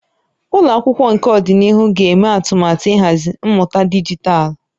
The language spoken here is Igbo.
Ụlọ akwụkwọ nke ọdịnihu ga-eme atụmatụ ịhazi mmụta dijitalụ